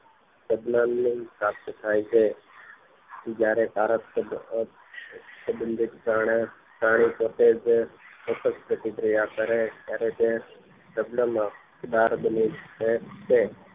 યજમાન ને પ્રાપ્ત થાય છે જયારે સારશ સબંધીત પ્રાણી પોતેજ ત્તષ્ટ પ્રતિક્રિયા કરે ત્યારે તે બાર બની જાય છે